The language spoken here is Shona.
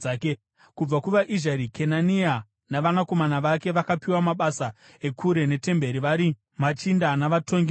Kubva kuvaIzhari: Kenania navanakomana vake vakapiwa mabasa ekure netemberi vari machinda navatongi muIsraeri.